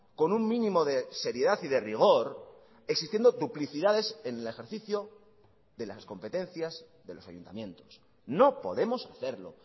con un mínimo de seriedad y de rigor existiendo duplicidades en el ejercicio de las competencias de los ayuntamientos no podemos hacerlo